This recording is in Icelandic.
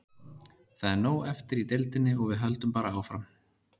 Það er nóg eftir í deildinni og við höldum bara áfram.